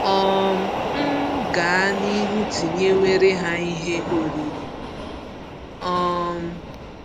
um M gaa n'ihu tinyewere ha Ihe oriri? um